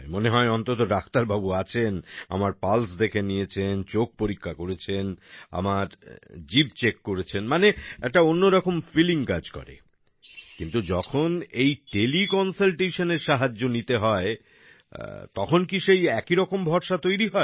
মনে হয় অন্তত ডাক্তারবাবু আছেন আমার পালস দেখে নিয়েছেন চোখ পরীক্ষা করেছেন আমার জিভ চেক করেছেন মানে একটা অন্যরকম ফিলিং কাজ করে কিন্তু যখন এই তেলে কনসালটেশন এর সাহায্য নিতে হয় তখন কী সেই একই রকম ভরসা তৈরি হয়